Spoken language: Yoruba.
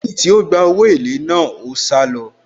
Lẹ́yìn tí ó gba owó èlé náà, ó sálọ.